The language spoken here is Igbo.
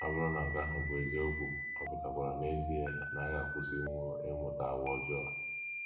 Ọ bụrụ na nke ahụ bụ eziokwu, ọ pụtakwara n’ezie na-agakwusinwu ịmụta àgwà ọjọọ!